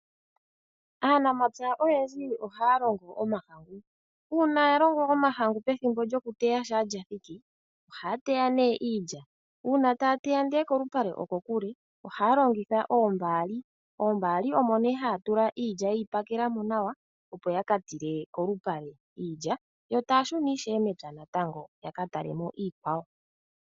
Aanamapya oyendji ohaya longo omahangu. Uuna ya longo omahangu pethimbo lyokuteya shampa lya thiki, ohaya teya nee iilya. Uuna taya teya ndele kolupale okokule, ohaya longitha oombaali, oombaali omo nee haya tula iilya ye yi pakela mo nawa opo ya ka tile kolupale iilya, yo taya shuna ishewe mepya ya ka tale mo iikwawo.